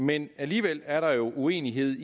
men alligevel er der jo uenighed